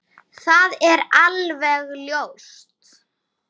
Það er alveg ljóst!